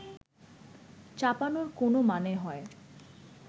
চাপানোর কোনও মানে হয়